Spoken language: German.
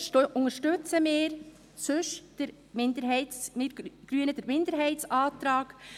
Deshalb unterstützen wir Grünen den Minderheitsantrag.